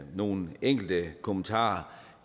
nogle enkelte kommentarer